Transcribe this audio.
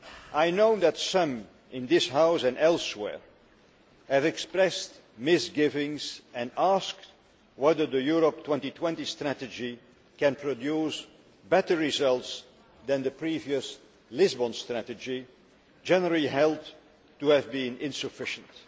I know that some in this House and elsewhere have expressed misgivings and asked whether the Europe 2020 strategy can produce better results than the previous Lisbon Strategy, generally held to have been insufficient.